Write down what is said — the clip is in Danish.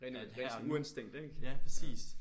At her og nu ja præcis